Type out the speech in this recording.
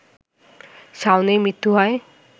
শাওনের মৃত্যু হয়